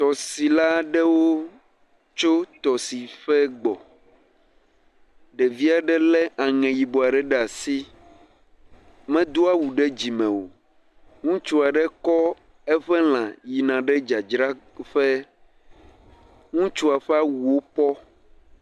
Tɔsila aɖewo tso tɔsiƒe gbɔ. Ɖeviɛ ɖe lé aŋɛ yibɔ ɖe ɖe asi. Medo awu ɖe dzime o. Ŋutsu aɖe kɔ eƒe lã yina ɖe dzadzraƒe. Ŋutsua ƒe awuwo pɔɔ.